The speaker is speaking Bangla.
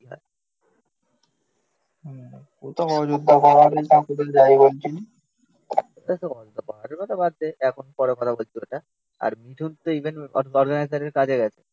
বাদ দে এখন পরে কথা বলছি ওটা আর মিঠুন তো এখন কাজে গেছে.